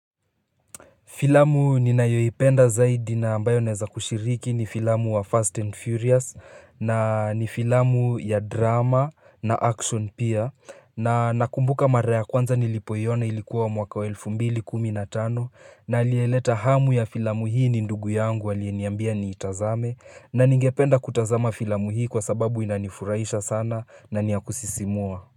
Filamu ninayoipenda zaidi na ambayo neweza kushiriki ni filamu wa Fast and Furious na ni filamu ya drama na action pia na nakumbuka mara ya kwanza nilipoiona ilikuwa mwaka wa elfu mbili kumi na tano na aliyeleta hamu ya filamu hii ni ndugu yangu alieniambia niitazame na ningependa kutazama filamu hii kwa sababu inanifurahisha sana na niyakusisimua.